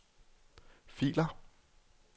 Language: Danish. filer